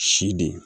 Si de